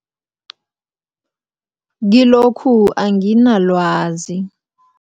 Kilokhu anginalwazi.